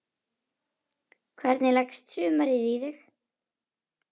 Hvernig leggst sumarið í þig?